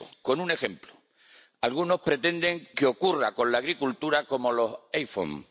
Me explico con un ejemplo algunos pretenden que ocurra con la agricultura como los iPhone.